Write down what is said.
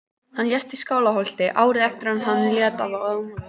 Hann lést í Skálholti árið eftir að hann lét af embætti.